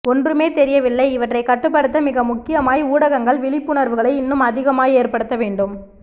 ஒன்றுமே தெரியவில்லை இவற்றை கட்டுப்படுத்த மிக முக்கியமாய் ஊடகங்கள் விழிப்புணர்வுகளை இன்னும் அதிகமாய் ஏற்ப்படுத்தவேண்டும்